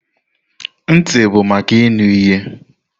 Ntị bụ maka ịnụ ihe.